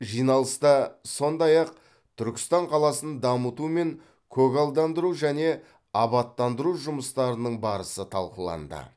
жиналыста сондай ақ түркістан қаласын дамыту мен көгалдандыру және абаттандыру жұмыстарының барысы талқыланды